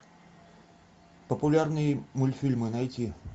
популярные мультфильмы найти